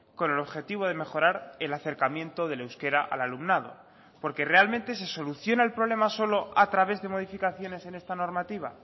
con el objetivo de mejorar el acercamiento del euskera al alumnado porque realmente se soluciona el problema solo a través de modificaciones en esta normativa